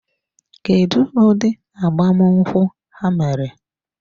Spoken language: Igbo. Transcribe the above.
Kedụ ụdị agbamakwụkwọ ha mere?